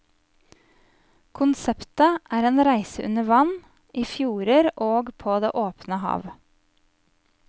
Konseptet er en reise under vann, i fjorder og på det åpne hav.